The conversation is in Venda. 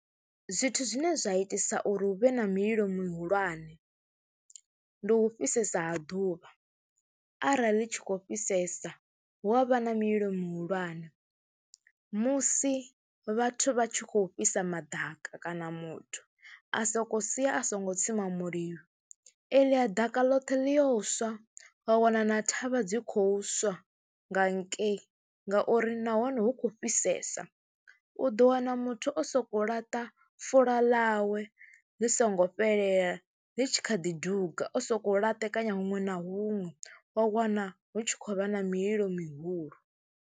Zwithu zwine zwa itisa uri hu vhe na mililo mihulwane, ndi u fhisesa ha ḓuvha, arali ḽi tshi khou fhisesa hu a vha na mililo mihulwane. Musi vhathu vha tshi khou fhisa maḓaka kana muthu a sokou sia a songo tsima mulilo eḽia ḓaka ḽothe ḽi yo swa, wa wana na thavha dzi khou swa nga hakei ngauri nahone hu khou fhisesa. U ḓo wana muthu o sokou laṱa fula ḽawe ḽi songo fhelela, ḽi tshi kha ḓi duga, o sokou laṱekanya huṅwe na huṅwe wa wana hu tshi khou vha na mililo mihulu.